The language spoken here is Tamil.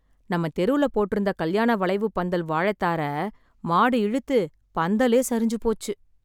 நம்ம தெருல போட்ருந்த கல்யாண வளைவுப் பந்தல் வாழைத் தார மாடு இழுத்து பந்தலே சரிஞ்சு போச்சு.